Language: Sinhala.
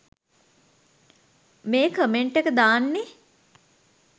මේ කමෙන්ට් එක දාන්නේ.